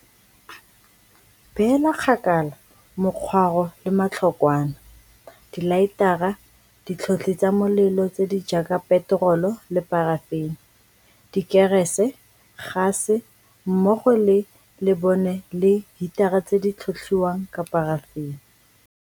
Beela kgakala mokgwaro le matlhokwana, dilaetara, ditlhotlhi tsa molelo tse di jaaka peterole le parafene, dikerese, gase mmogo le lebone le hitara tse di tlhotlhiwang ka parafene.